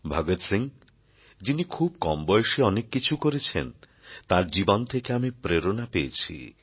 ভগৎ সিং যিনি খুব কম বয়সে অনেক কিছু করেছেন তাঁর জীবন থেকে আমি প্রেরণা পেয়েছি